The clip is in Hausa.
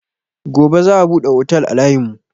Gobe za a buɗe otel a layin mu